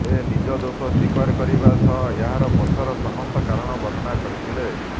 ସେ ନିଜ ଦୋଷ ସ୍ବୀକାର କରିବା ସହ ଏହାର ପଛର ସମସ୍ତ କାରଣ ବର୍ଣ୍ଣନା କରିଥିଲେ